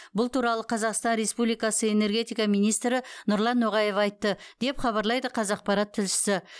бұл туралы қазақстан республикасы энергетика министрі нұрлан ноғаев айтты деп хабарлайды қазақпарат тілшісі